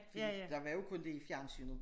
Fordi der var jo kun det i fjernsynet